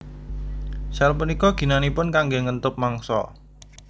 Sel punika ginanipun kanggé ngentup mangsa